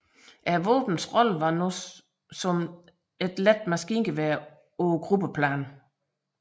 Våbnets rolle var nu som let maskingevær på gruppeplan